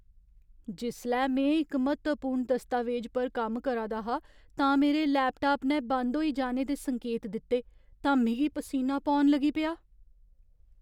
जिसलै में इक म्हत्तवपूर्ण दस्तावेज पर कम्म करा दा हा तां मेरे लैपटाप ने बंद होई जाने दे संकेत दित्ते तां मिगी पसीना पौन लगी पेआ ।